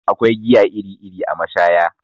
Akwai giya iri iri a mashaya